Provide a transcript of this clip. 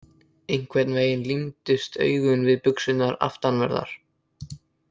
Einhvern veginn límdust augun við buxurnar aftanverðar.